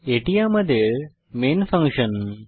এটি আমাদের main function